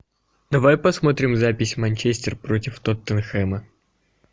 давай посмотрим запись манчестер против тоттенхэма